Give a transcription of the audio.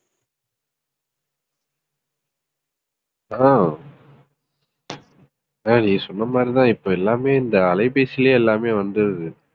ஹம் அஹ் நீ சொன்ன மாதிரிதான் இப்ப எல்லாமே இந்த அலைபேசியிலேயே எல்லாமே வந்துருது